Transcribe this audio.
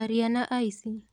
Arĩa nĩ aici.